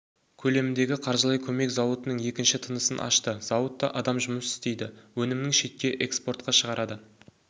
көлеміндегі қаржылай көмек зауыттың екінші тынысын ашты зауытта адам жұмыс істейді өнімінің шетке экспортқа шығарады